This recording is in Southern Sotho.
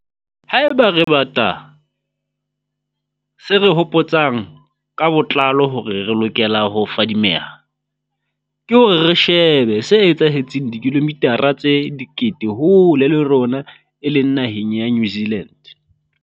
Haeba re bata se re hopo tsang ka botlalo hore re lokele ho fadimeha, ke hore re shebe se etsahetseng dikilomithara tse dikete hole le rona e leng naheng ya New Zealand.